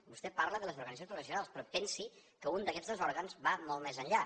vostè parla de les organitzacions professionals però pensi que un d’aguest dos òrgans va molt més enllà